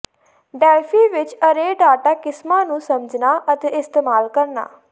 Delphi ਵਿਚ array data ਕਿਸਮਾਂ ਨੂੰ ਸਮਝਣਾ ਅਤੇ ਇਸਤੇਮਾਲ ਕਰਨਾ